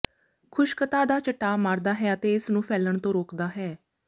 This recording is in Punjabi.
ਖੁਸ਼ਕਤਾ ਦਾ ਚਟਾਅ ਮਾਰਦਾ ਹੈ ਅਤੇ ਇਸ ਨੂੰ ਫੈਲਣ ਤੋਂ ਰੋਕਦਾ ਹੈ